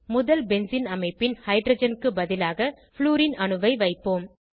முதல் பென்சீன் அமைப்பின் ஹைட்ரஜன் க்கு பதிலாக ப்ளூரின் அணுவை வைப்போம்